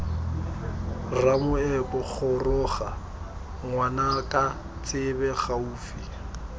ramoepo goroga ngwanaka tsebe gaufi